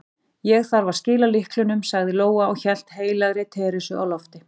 Ég þarf að skila lyklunum, sagði Lóa og hélt heilagri Teresu á lofti.